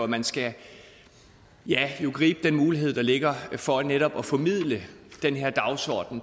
man skal gribe den mulighed der ligger for netop at formidle den her dagsorden